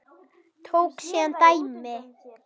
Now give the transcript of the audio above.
Tók síðan dæmi: